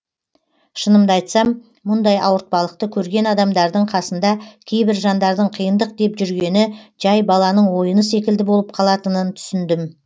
шынымды айтсам мұндай ауыртпалықты көрген адамдардың қасында кейбір жандардың қиындық деп жүргені жай баланың ойыны секілді болып қалатынын түсіндім